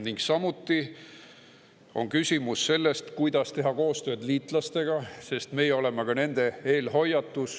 Ning samuti on küsimus sellest, kuidas teha koostööd liitlastega, sest meie oleme ka nende eelhoiatus.